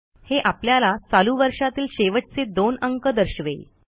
हे आपल्याला चालू वर्षातील शेवटचे दोन अंक दर्शवेल